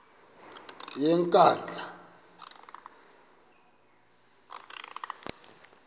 yenkandla